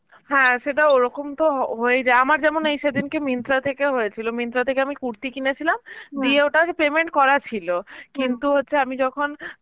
হ্যাঁ সেটা ওরকম তো হ~ হয়ে যায়, আমার যেমন এই সেদিনকে Myntra থেকে হয়েছিল. Myntra থেকে আমি কুর্তি কিনেছিলাম দিয়ে ওটার payment করা ছিল কিন্তু হচ্ছে আমি যখন